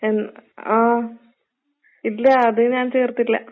ഉം ആഹ്. ഇല്ല അത് ഞാൻ ചേർത്തില്ല.